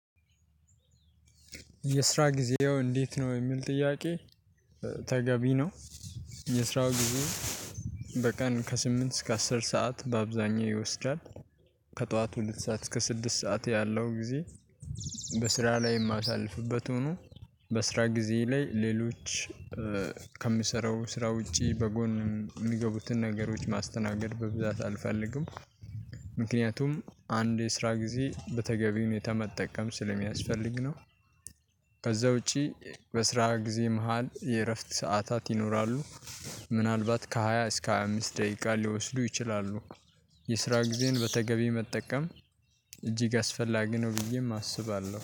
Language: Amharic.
የስራ ጊዜው እንዴት ነው? የሚል ጥያቄ ተገቢ ነው። የስራው ጊዜ በቀን ከስምንት እስከ አስር ሰዓት በአብዛኛው ይወስዳል ከጠዋት ሁለት ሰዓት እስከ ስድስት ሰዓት ያለው ጊዜ በስራ ላይ የማሳልፍበት ሆኖ በስራ ጊዜ ላይ ሌሎች ከምሰራው ስራ ውጪ በጎን የሚገቡትን ነገሮች ማስተናገድ በብዛት አልፈልግም። ምክንያቱም አንድ የስራ ጊዜ በተገቢ ሁኔታ መጠቀም ስለሚያስፈልግ ነው። ከዛ ውጪ በስራ ጊዜ መሃል የእረፍት ሰዓታት ይኖራሉ። ምናልባት ከሃያ እስከ ሃያ አምስት ደቂቃ ሊወስዱ ይችላሉ የስራ ጊዜን በተገቢ መጠቀም እጅግ አስፈላጊ ነው ብዬም አስባለሁ።